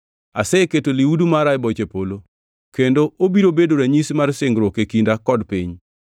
Aseketo lihudu mara e boche polo, kendo obiro bedo ranyisi mar singruok e kinda kod piny.